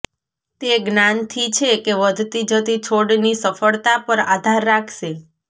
તે જ્ઞાનથી છે કે વધતી જતી છોડની સફળતા પર આધાર રાખશે